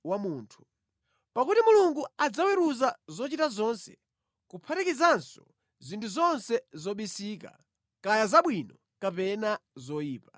Pakuti Mulungu adzaweruza zochita zonse, kuphatikizanso zinthu zonse zobisika, kaya zabwino kapena zoyipa.